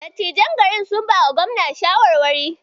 Dattijon garin sun bawa Gobna shawarwari.